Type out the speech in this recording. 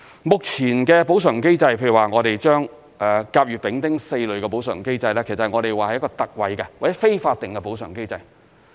目前的補償機制，譬如說甲、乙、丙、丁4類的補償機制，其實是一個特惠或非法定的補償機制。